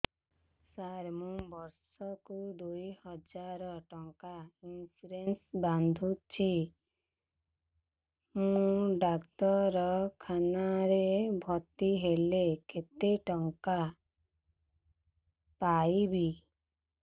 ସାର ମୁ ବର୍ଷ କୁ ଦୁଇ ହଜାର ଟଙ୍କା ଇନ୍ସୁରେନ୍ସ ବାନ୍ଧୁଛି ମୁ ଡାକ୍ତରଖାନା ରେ ଭର୍ତ୍ତିହେଲେ କେତେଟଙ୍କା ପାଇବି